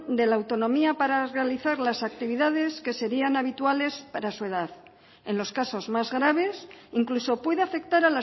de la autonomía para realizar las actividades que serían habituales para su edad en los casos más graves incluso puede afectar